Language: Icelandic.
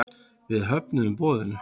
Við höfnuðum boðinu.